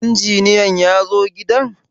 Injiniyan yazo gidan?